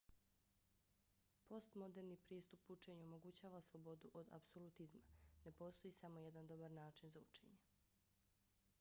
postmoderni pristup učenju omogućava slobodu od apsolutizma. ne postoji samo jedan dobar način za učenje